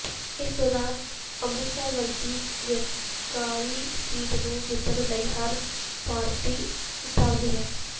ਇਸੇ ਦੌਰਾਨ ਅੰਮ੍ਰਿਤਸਰ ਵਰਗੀ ਵੱਕਾਰੀ ਸੀਟ ਨੂੰ ਜਿੱਤਣ ਲਈ ਹਰ ਪਾਰਟੀ ਉਤਾਵਲੀ ਹੈ